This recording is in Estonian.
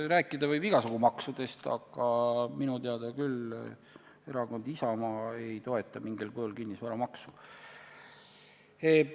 Rääkida võib igasugu maksudest, aga minu teada Erakond Isamaa küll mingil kujul kinnisvaramaksu ei toeta.